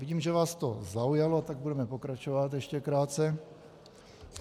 Vidím, že vás to zaujalo, tak budeme pokračovat, ještě krátce.